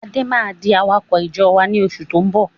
Adé máa di awakọ̀ ìjọ wá ní oṣù tó ń bọ̀